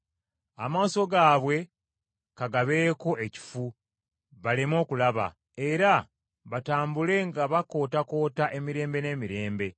Amaaso gaabwe ka gabeeko ekifu, baleme okulaba. Era batambule nga bakootakoota emirembe n’emirembe.”